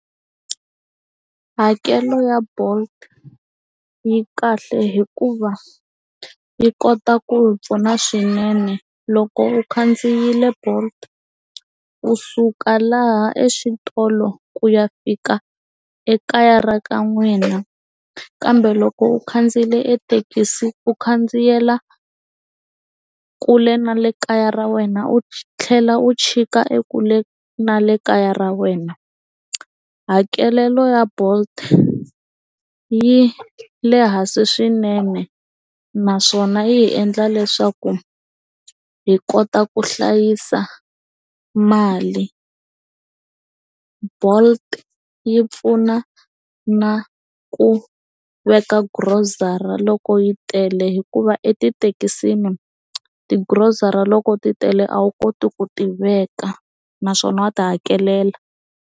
Hakelo ya Bolt yi kahle hikuva yi kota ku hi pfuna swinene loko u khandziyile bolt u suka laha exitolo ku ya fika ekaya ra ka n'wina kambe loko u khandziyile thekisi u khandziyela kule na le kaya ra wena u tlhela u chika e kule na le kaya ra wena hakelelo ya Bolt yi le hansi swinene naswona yi endla leswaku hi kota ku hlayisa mali Bolt yi pfuna na ku veka grocery loko yi tele hikuva etithekisini ti grocery loko ti tele a wu koti ku tiveka naswona wa ti hakelela.